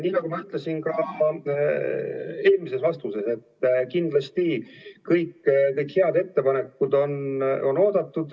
Nii nagu ma ütlesin ka eelmises vastuses, siis kindlasti kõik need head ettepanekud on oodatud.